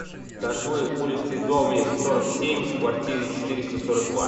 ташлы улице доме сорок семь в квартире четыреста сорок два